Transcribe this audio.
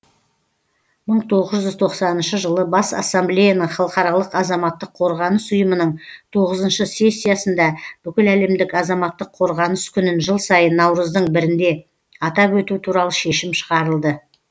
мың тоғыз жүз тоқсаныншы жылы бас ассамблеяның халықаралық азаматтық қорғаныс ұйымының тоғызыншы сессиясында бүкіләлемдік азаматтық қорғаныс күнін жыл сайын наурыздың бірінде атап өту туралы шешім шығарылды